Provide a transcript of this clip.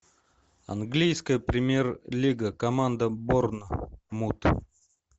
английская премьер лига команда борнмут